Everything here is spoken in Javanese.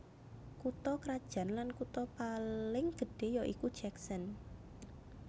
Kutha krajan lan kutha paling gedhé ya iku Jackson